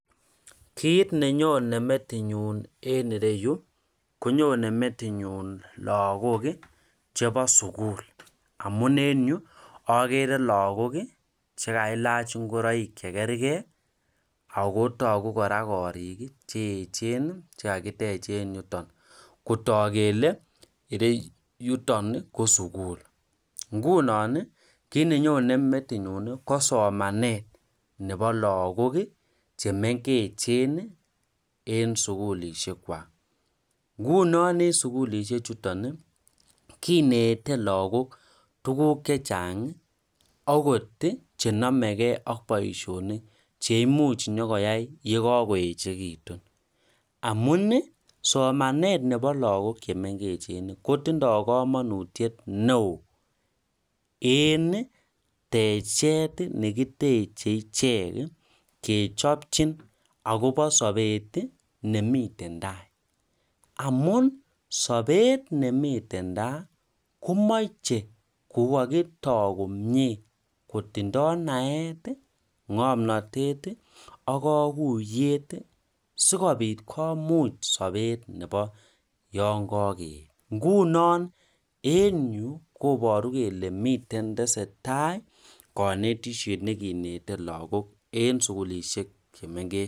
Kit nenyone metinyun en ireyuu konyone metinyun lokok kii chebo sukul amun en ireyuu okere lokok kii chekailach ingoroik chekergee ako toku koraa korik kii cheyechen chekakitech en yuton kotok kele ireyuton nii ko sukul, nguno nii kit nenyone metinyun ko somenet nebo lokok kii chemengechen nii en sukulishek kwak. Nguno en sukulishek chuton nii kinete lokok tukuk chechangi okot chenomegee ak boishonik cheimuch nyokoyai yekokoyechekiyun amuni somenet nebo lokok chemengechen kotindo komonutyet neo en techet nekiteche ichek kechopchin akobo sobet tii nemiten tai amun sobet nemiten tai komoche ko kikotoo komie kotindo naet, ngomnotet ak kokoyet sikopit komuch sobet nebo yon kokeyet, ngunon en yuu koboru kele miten tesetai konetishet nekineten lokok en sukulishek chemengech.